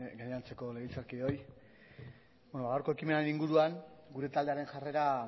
gainontzeko legebiltzarkideoi ba gaurko ekimenaren inguruan gure taldearen jarrera